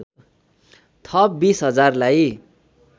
थप २० हजारलाई